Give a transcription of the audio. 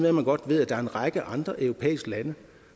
at man godt ved at der er en række andre europæiske lande